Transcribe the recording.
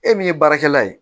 E min ye baarakɛla ye